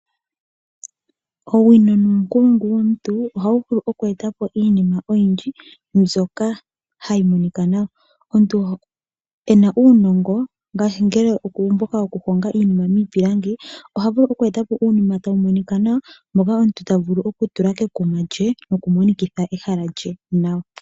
Owino nuunkulungu womuntu ohawu vulu oke eta po iinima oyindji mbyoka hayi monika nawa. Omuntu e na uunongo ngaashi mboka wokuhonga iinima miipilangi oha vulu oku eta po uunima tawu monika nawa nuunima mboka omuntu ta vulu okutula kekuma lye nokumonikitha ehala lye nawa.